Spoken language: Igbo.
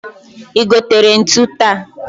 I gotere ntu taa?